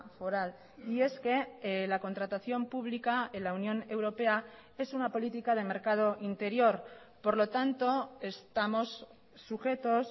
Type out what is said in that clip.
foral y es que la contratación pública en la unión europea es una política de mercado interior por lo tanto estamos sujetos